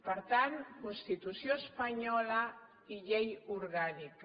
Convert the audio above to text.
per tant constitució espanyola i llei orgànica